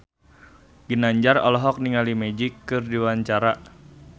Ginanjar olohok ningali Magic keur diwawancara